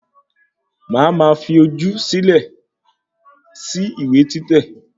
Má a máa fi ojú sí ìwé títẹ̀